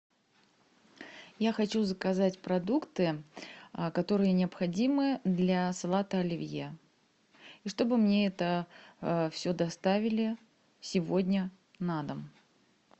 я хочу заказать продукты которые необходимы для салата оливье и чтобы мне это все доставили сегодня на дом